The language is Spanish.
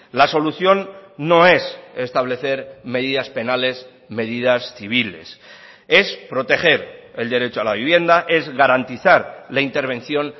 la solución no es establecer medidas penales medidas civiles es proteger el derecho a la vivienda es garantizar la intervención